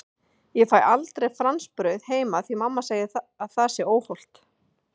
Ég fæ aldrei franskbrauð heima því mamma segir að það sé svo óhollt!